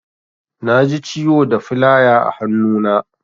Naji ciwo da filaya a hannu na.